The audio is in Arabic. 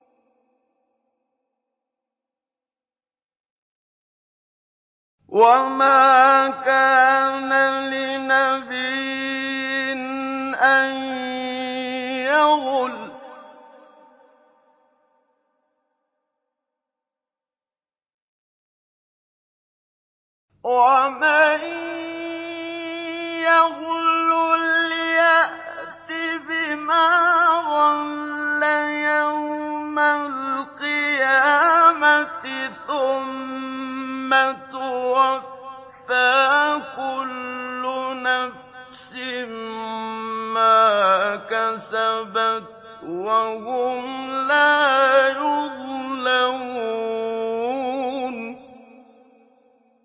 وَمَا كَانَ لِنَبِيٍّ أَن يَغُلَّ ۚ وَمَن يَغْلُلْ يَأْتِ بِمَا غَلَّ يَوْمَ الْقِيَامَةِ ۚ ثُمَّ تُوَفَّىٰ كُلُّ نَفْسٍ مَّا كَسَبَتْ وَهُمْ لَا يُظْلَمُونَ